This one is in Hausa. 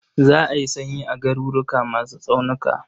Za a yi sanyi a garuruwa masu tsaunuka.